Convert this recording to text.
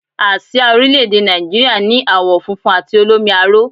Àsìá orílẹ̀èdè Nàìjíríà ni àwọ̀ funfun àti olómi aró